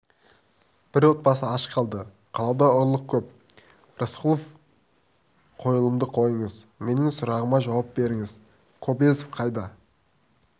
бір отбасы аш қалды қалада ұрлық көп рысқұлов қойылымды қойыңыз менің сұрағыма жауап беріңіз кобозев қайда